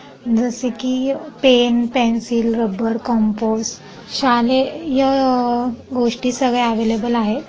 जसकी pen pencil rubber compass शालेय य-ह-ह गोष्टी सगळ्या अवेलेबल आहेत.